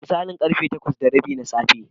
Da misalin ƙarfe takwas da rabi na safe.